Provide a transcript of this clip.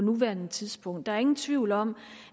nuværende tidspunkt der er ingen tvivl om